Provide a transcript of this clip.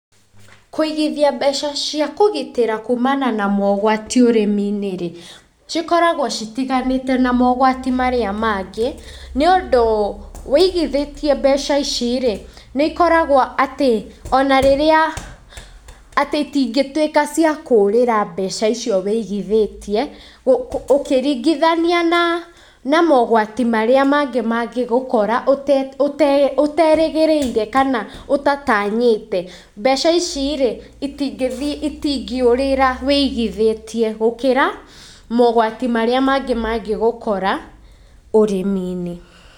Kũigithia mbeca cia kũgitĩra kuumana na mogwati ũrĩmi-inĩ , cikoragwo citiganĩte na mogwati marĩa mangĩ nĩũndũ wĩigithĩtie mbeca icirĩ, nĩikoragwo atĩ onarĩrĩa atĩ itingĩtuĩka atĩ ciakũrĩra mbeca icio wĩigithĩtie ũkiringithania na na mogatwi marĩa mangĩ mangĩgũkora ũterĩgĩrĩire kana ũtatanyĩte. Mbeca icirĩ, itingĩthiĩ itingĩũrĩra wĩigithĩtie gũkĩra mogwati marĩa mangĩ mangĩgũkora ũrĩmi-inĩ.